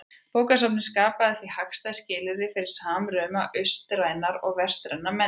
Bókasafnið skapaði því hagstæð skilyrði fyrir samruna austrænnar og vestrænnar menningar.